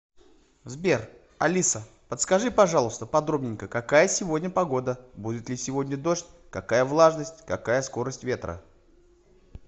сбер алиса подскажи пожалуйста подробненько какая сегодня погода будет ли сегодня дождь какая влажность какая скорость ветра